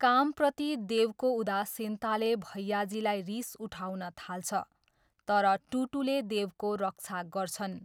कामप्रति देवको उदासीनताले भैयाजीलाई रिस उठाउन थाल्छ, तर टुटूले देवको रक्षा गर्छन्।